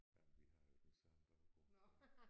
Jamen vi har jo den samme baggrund